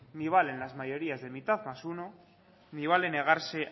ni valen las mayorías de mitad más uno ni vale negarse